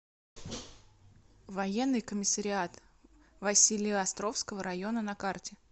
военный комиссариат василеостровского района на карте